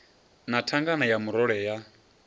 na thangana ya murole ya